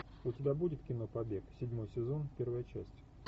у тебя будет кино побег седьмой сезон первая часть